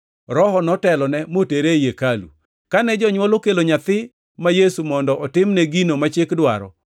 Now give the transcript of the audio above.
Roho notelone motere ei hekalu. Kane jonywol okelo nyathigi ma Yesu mondo otimne gino ma Chik dwaro,